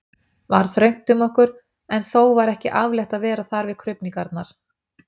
var þröngt um okkur, en þó var ekki afleitt að vera þar við krufningarnar.